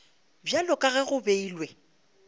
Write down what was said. bjalo ka ge go beilwe